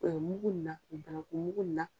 mugu in na banankumugu in na